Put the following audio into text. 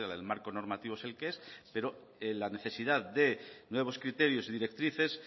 el marco normativo es el que es pero la necesidad de nuevos criterios y directrices